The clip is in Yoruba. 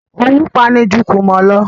Owú pa'ni ju kùmọ̀ lọ